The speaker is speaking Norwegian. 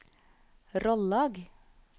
Rollag